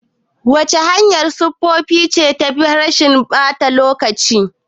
Wace hanyar sufuri ce tafi rashin ɓata lokaci?